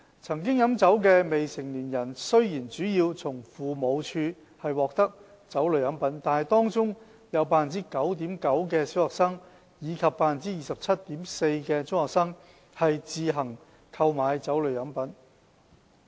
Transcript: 曾經飲酒的未成年人雖然主要從父母獲得酒類飲品，但當中也有 9.9% 的小學生及 27.4% 的中學生飲用自行購買的酒類飲品。